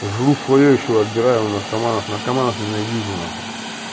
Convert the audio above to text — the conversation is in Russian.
жру своё ещё и отбираю у наркоманов наркоманов ненавижу нахуй